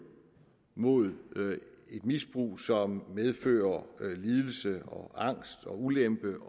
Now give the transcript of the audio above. mod et misbrug som medfører lidelse og angst og ulempe